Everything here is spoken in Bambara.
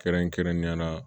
Kɛrɛnkɛrɛnnenya la